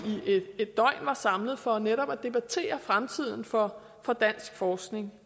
et døgn var samlet for netop at debattere fremtiden for dansk forskning